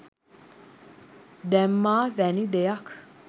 දැම්මා වැනි දෙයක්.